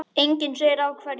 Enginn segir af hverju.